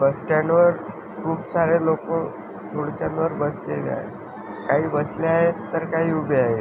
बस stand वर खुप सारे लोक खुर्च्यावर बसलेले आहेत काही बसलेले आहेत काही उभे आहेत.